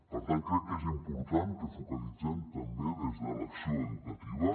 per tant crec que és important que focalitzem també des de l’acció educativa